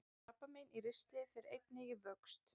Krabbamein í ristli fer einnig í vöxt.